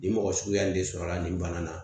Nin mɔgɔ suguya nin de sɔrɔla nin bana na